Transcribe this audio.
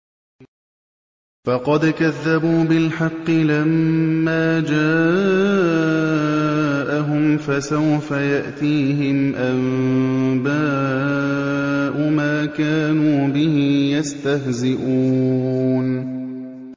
فَقَدْ كَذَّبُوا بِالْحَقِّ لَمَّا جَاءَهُمْ ۖ فَسَوْفَ يَأْتِيهِمْ أَنبَاءُ مَا كَانُوا بِهِ يَسْتَهْزِئُونَ